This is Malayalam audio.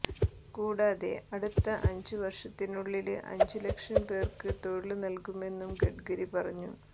കൂടാതെ അടുത്ത അഞ്ചു വര്ഷത്തിനുള്ളില് അഞ്ചു ലക്ഷം പേര്ക്ക് തൊഴില് നല്കുമെന്നും ഗഡ്കരി പറഞ്ഞു